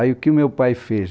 Aí o que meu pai fez?